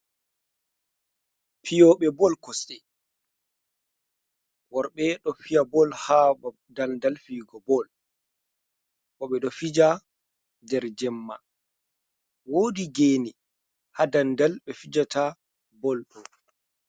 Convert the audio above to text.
Fiyooɓe bol kosɗe, worɓe ɗo fiya bol haa daldal fiyugo bol, boo ɓe ɗo fija nder jemma, woodi geene haa daldal ɓe fijata bol ɗo.